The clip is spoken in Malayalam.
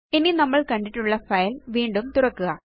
ഇനി നമ്മള് കണ്ടിട്ടുള്ള ഫൈൽ വീണ്ടും തുറക്കുക